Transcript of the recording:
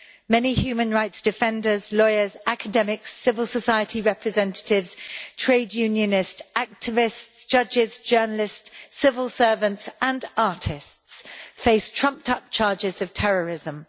Many human rights defenders, lawyers, academics, civil society representatives, trade unionist activists, judges, journalists, civil servants and artists face trumped-up charges of terrorism.